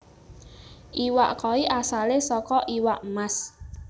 Iwak koi asalé saka iwak mas